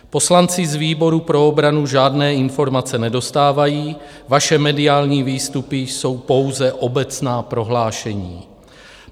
Poslanci z výboru pro obranu žádné informace nedostávají, vaše mediální výstupy jsou pouze obecná prohlášení.